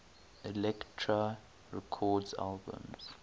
elektra records albums